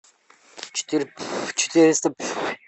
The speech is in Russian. четыре четыреста